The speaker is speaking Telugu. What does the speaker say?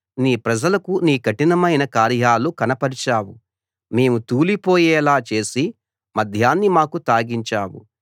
నీ ప్రజలకు నీ కఠినమైన కార్యాలు కనపరిచావు మేము తూలిపోయేలా చేసే మద్యాన్ని మాకు తాగించావు